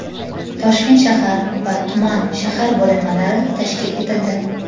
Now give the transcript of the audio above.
Toshkent shahar va tuman (shahar) bo‘linmalari tashkil etildi.